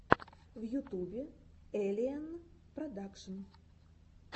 в ютубе эллиэнн продакшн